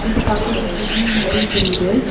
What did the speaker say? இது பாக்க ஒரு ஜிம் மாரி தெரியுது.